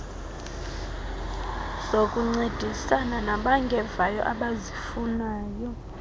zokuncedisana nabangevayo abazifunayo